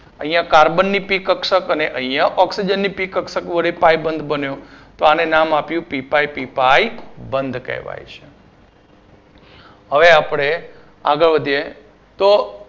અહિયાં carbon ની p કક્ષક અને અહિયાં oxygen ની પી કક્ષક વડે પાઇ બંધ બન્યો તો આને નામ આપ્યું પી પાઇ પી પાઇ બંધ કહેવાય છે હવે આપડે આગળ વધીએ તો